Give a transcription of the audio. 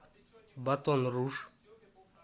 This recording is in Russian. батон руж